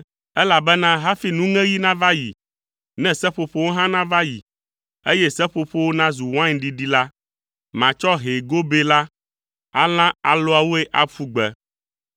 Elabena hafi nuŋeɣi nava yi ne seƒoƒowo hã nava yi, eye seƒoƒowo nazu wain ɖiɖi la, matsɔ hɛ̃ gobɛ la alã alɔawoe aƒu gbe.